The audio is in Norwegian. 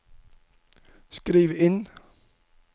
skriv inn